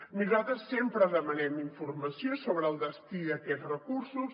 i nosaltres sempre demanem informació sobre el destí d’aquests recursos